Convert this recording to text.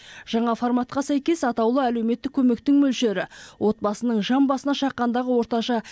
жаңа форматқа сәйкес атаулы әлеуметтік көмектің мөлшері отбасының жан басына шаққандағы орташа